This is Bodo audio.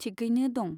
थिकयैनो दं।